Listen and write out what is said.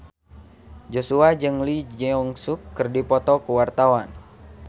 Joshua jeung Lee Jeong Suk keur dipoto ku wartawan